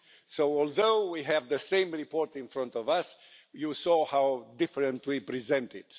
So although we have the same report in front of us, you saw how differently we present it.